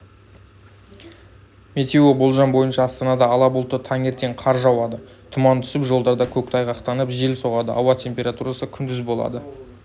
метеоболжам бойынша астанада ала бұлтты таңертең қар жауады тұман түсіп жолдарда көктайғақтанып жел соғады ауа температурасы күндіз болады